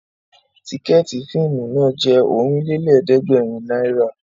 Tìkẹ̀ẹ̀tí fíìmù náà jẹ́ Ọ̀rìnlélẹ̀ẹ̀dẹ́gbèrin náírà